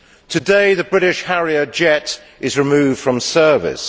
Today the British Harrier jet is removed from service.